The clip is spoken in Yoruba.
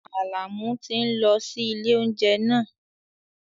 Àlàmú tí ń lọ sí ilé oúnjẹ náà